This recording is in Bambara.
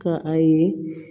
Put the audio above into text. Ka a ye